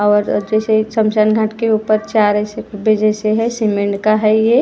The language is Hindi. और जैसे शमशान घाट के ऊपर चार ऐसे हैं सीमेंट का है ये।